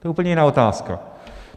To je úplně jiná otázka.